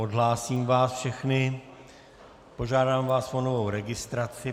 Odhlásím vás všechny, požádám vás o novou registraci.